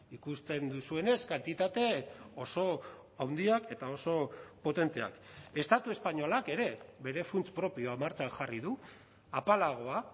ikusten duzuenez kantitate oso handiak eta oso potenteak estatu espainolak ere bere funts propioa martxan jarri du apalagoa